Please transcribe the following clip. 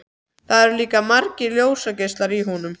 Það eru líka margir ljósgeislar í honum.